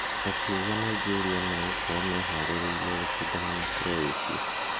Akiuga Nigeria magakorwo meharĩrĩirie gũcindana na Croatia.